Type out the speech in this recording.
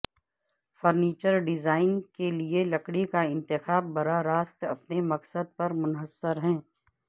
furniture design کے لئے لکڑی کا انتخاب براہ راست اپنے مقصد پر منحصر ہے